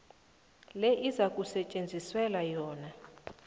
le ezakusetjenziselwa yona